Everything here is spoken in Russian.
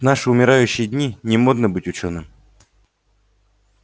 в наши умирающие дни не модно быть учёным